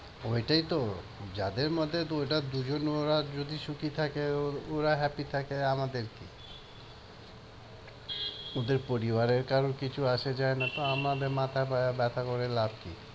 ওইটাই তো যাদের মধ্যে ওটা দুইজন ওরা যদি সুখী থাকে ওরা happy থাকে আমাদের কি? ওদের পরিবারের কারো কিছু আসে যায় না তো আমাদের মাথা ব্যথা করে লাভ কি?